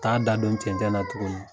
Ka da don cɛncɛn na tuguni.